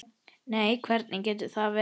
Nei, hvernig getur það verið?